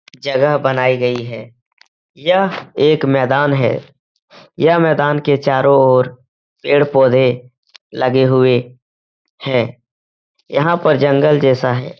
जगह बनाई गई है। यह एक मैदान है। यह मैदान के चारों ओर पेड़-पौधे लगे हुए हैं। यहाँ पर जंगल जैसा है।